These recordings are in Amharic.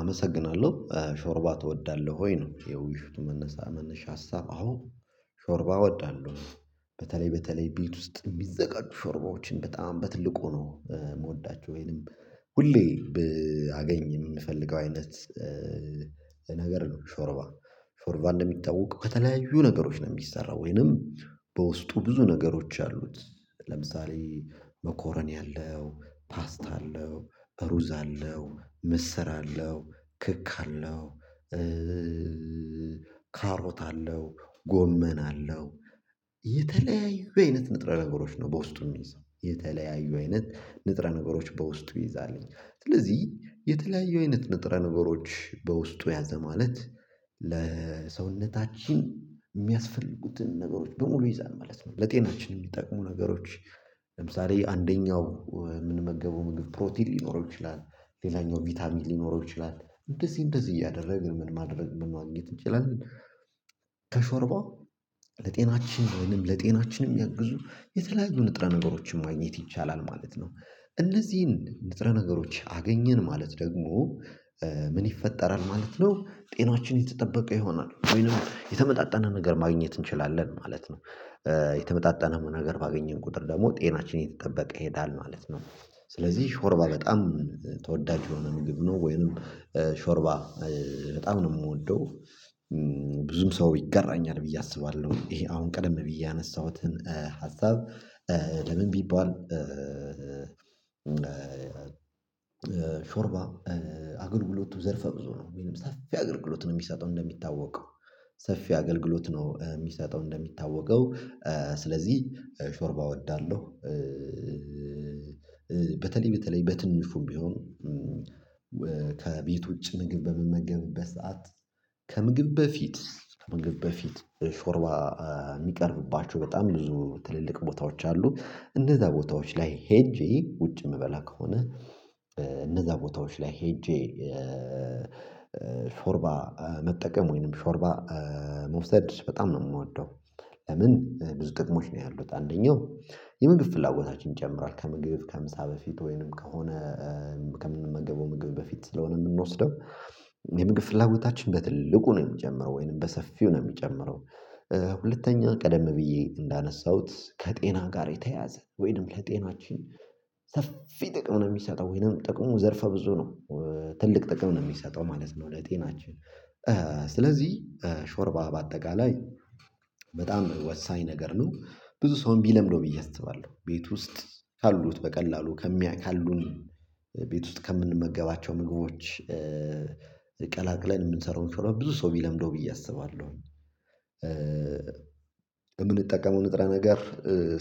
አመሰግናለሁ ሾርባ ትወዳለህ ወይ ነው? የውይይቱ መነሳ መነሻ ሀሳብ አዎ ሾርባ እወዳለሁ። በተለይ በተለይ ቤት ውስጥ የሚዘጋጁ ሾርባዎችን በጣም በትልቁ ነው የምወዳቸው ወይንም ሁሌ አገኝ የምፈልገው አይነት ነገር ነው። ሾርባ ሾርባ እንደሚታወቀው ከተለያዩ ነገሮች ነው የሚሰራው ወይንም በውስጡ ብዙ ነገሮች አሉት። ለምሳሌ መኮረኒ አለው ፓስት አለው ሩዝ አለው ምስር አለው ክክ አለው። ካሮት አለው ጎመን አለው የተለያዩ አይነት ንጥረ ነገሮች ነው በውስጡ የሚይዘው የተለያዩ አይነት ንጥረ ነገሮች በውስጡ ይዛልኝ። ስለዚህ የተለያየ አይነት ንጥረ ነገሮች በውስጡ ያዘ ማለት ለሰውነታችን የሚያስፈልጉትን ነገሮች በሙሉ ይይዛል ማለት ነው። ለጤናችን የሚጠቅሙ ነገሮች ለምሳሌ አንደኛው የምንመገበው ምግብ ፕሮቲን ሊኖረው ይችላል ሌላኛው ቪታሚን ሊኖረው ይችላል እንደዚህ እንደዚህ እያደረግን ምን ማድረግ ምን ማግኘት እንችላለን? ከሾርባ ለጤናችን ወይንም ለጤናችን የሚያግዙ የተለያዩ ንጥረ ነገሮችን ማግኘት ይቻላል ማለት ነው። እነዚህን ንጥረ ነገሮች አገኘን ማለት ደግሞ ምን ይፈጠራል ማለት ነው? ጤናችን የተጠበቀ ይሆናል ወይንም የተመጣጠነ ነገር ማግኘት እንችላለን ማለት ነው። የተመጣጠነ ነገር ባገኘን ቁጥር ደግሞ ጤናችን እየተጠበቀ ይሄዳል ማለት ነው። ስለዚህ ሾርባ በጣም ተወዳጅ የሆነ ምግብ ነው ወይንም ሾርባ በጣም ነው የምወደው። ብዙም ሰው ይጋራኛል ብዬ አስባለሁ ይሄ አሁን ቀደም ብዬ ያነሳሁትን ሀሳብ ለምን ቢባል ሾርባ አገልግሎቱ ዘርፈ ብዙ ነው ወይም ሰፊ አገልግሎት ነው የሚሰጠው እንደሚታወቀው ሰፊ አገልግሎት ነው የሚሰጠው እንደሚታወቀው ስለዚህ ሾርባ እወዳለሁ። በተለይ በተለይ በትንሹም ቢሆን ከቤት ውጪ ምግብ በምመገብበት ሰዓት ከምግብ በፊት ከምግብ በፊት ሾርባ የሚቀርብባቸው በጣም ብዙ ትልልቅ ቦታዎች አሉ እነዛ ቦታዎች ላይ ሄጄ ውጪ የምበላ ከሆነ እነዛ ቦታዎች ላይ ሄጄ ሾርባ መጠቀም ወይንም ሾርባ መውሰድ በጣም ነው የምወደው። ለምን ብዙ ጥቅሞች ነው ያሉት አንደኛው የምግብ ፍላጎታችን ይጨምራል ከምግብ ከምሳ በፊት ወይንም ከሆነ ከምንመገበው ምግብ በፊት ስለሆነ የምንወስደው የምግብ ፍላጎታችን በትልቁ ነው የሚጨምረው ወይንም በሰፊው ነው የሚጨምረው። ሁለተኛ ቀደም ብዬ እንዳነሳሁት ከጤና ጋር የተያያዘ ወይንም ለጤናችን ሰፊ ጥቅም ነው የሚሰጠው ወይንም ጥቅሙ ዘርፈ ብዙ ነው ትልቅ ጥቅም ነው የሚሰጠው ማለት ነው። ለጤናችን ስለዚህ ሾርባ በአጠቃላይ በጣም ወሳኝ ነገር ነው ብዙ ሰውም ቢለምደው ብዬ አስባለሁ ቤት ውስጥ ካሉት በቀላሉ ካሉን ቤት ውስጥ ከምንመገባቸው ምግቦች ቀላቅለን የምንሰራውን ሾርባ ብዙ ሰው ቢለምደው ብዬ አስባለሁ። የምንጠቀመው ንጥረ ነገር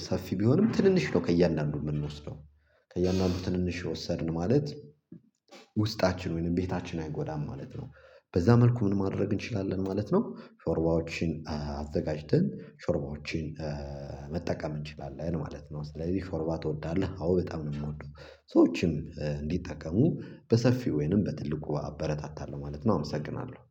ሰፊ ቢሆንም ትንንሽ ነው ከእያንዳንዱ የምንወስደው ከእያንዳንዱ ትንንሽ ወሰድን ማለት ውስጣችን ወይንም ቤታችን አይጎዳም ማለት ነው። በዛ መልኩ ምን ማድረግ እንችላለን ማለት ነው? ሾርባዎችን አዘጋጅተን ሾርባዎችን መጠቀም እንችላለን ማለት ነው። ስለዚህ ሾርባ ትወዳለህ? አዎ በጣም ነው የምወደው ሰዎችም እንዲጠቀሙ በሰፊው ወይንም በትልቁ አበረታታለሁ ማለት ነው። አመሰግናለሁ